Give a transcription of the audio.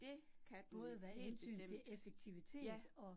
Det kan den helt bestemt, ja